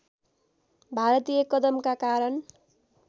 भारतीय कदमका कारण